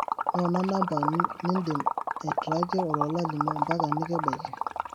noona namba nidim aitrackie olola lino mpaka nikibaiki